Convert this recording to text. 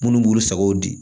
Munnu b'u sago di